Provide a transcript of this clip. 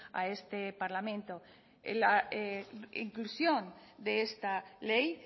a este parlamento la inclusión de esta ley